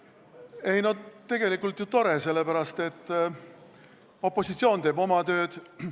Ei noh, tegelikult on ju tore, sest opositsioon teeb oma tööd.